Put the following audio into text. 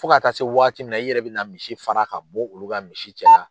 Fo ka taa se waati min na i yɛrɛ bɛ na misi fara ka bɔ olu ka misi cɛla.